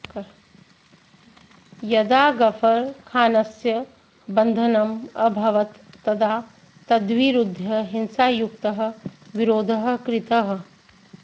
यदा गफर् खानस्य बन्धनम् अभवत् तदा तद्विरुध्य हिंसायुक्तः विरोधः कृतः